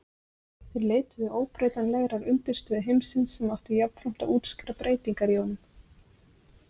Þeir leituðu óbreytanlegrar undirstöðu heimsins sem átti jafnframt að útskýra breytingar í honum.